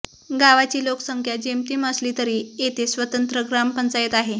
गावाची लोकसंख्या जेमतेम असली तरी येथे स्वतंत्र ग्रामपंचायत आहे